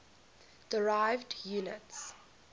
derived units